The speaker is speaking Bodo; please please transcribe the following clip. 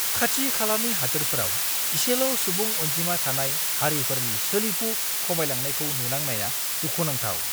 खाथि-खालानि हादोरफोराव इसेल' सुबुं अनजिमा थानाय हारिफोरनि सोलिफु खमायलांनायखौ नुनांनाया दुखुनांथाव!